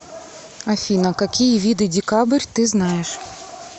афина какие виды декабрь ты знаешь